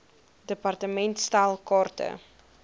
department stel kaarte